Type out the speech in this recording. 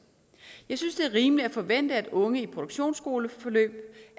jeg synes det er rimeligt at forvente at unge i produktionsskoleforløb